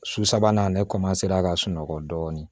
Su sabanan ne ka sunɔgɔ dɔɔnin